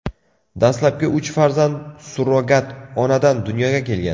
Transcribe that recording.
Dastlabki uch farzand surrogat onadan dunyoga kelgan.